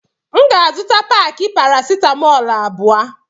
M ga azuta paki paracetamol abụọ.